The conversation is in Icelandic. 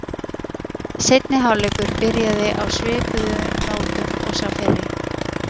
Seinni hálfleikur byrjaði á svipuðu nótum og sá fyrri.